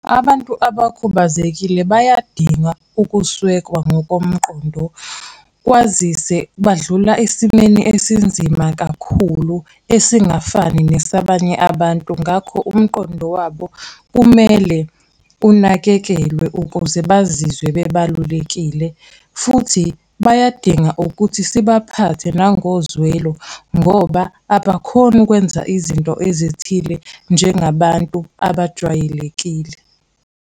Abantu abakhubazekile bayadinga ukusekwa ngokomqondo, kwazise badlula esimeni esinzima kakhulu, esingafani nesabanye abantu, ngakho umqondo wabo kumele unakekelwe ukuze bazizwe bebalulekile. Futhi bayadinga ukuthi sibaphathe nangozwelo ngoba abakhoni ukwenza izinto ezithile njengabantu abajwayelekile.